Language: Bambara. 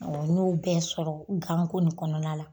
n ɲ'o bɛɛ sɔrɔ ganko nin kɔnɔna la.